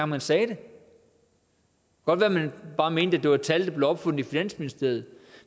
man sagde det og bare mente at det var et tal der blev opfundet i finansministeriet